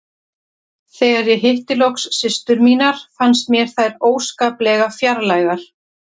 Þegar ég hitti loks systur mínar fannst mér þær óskaplega fjarlægar.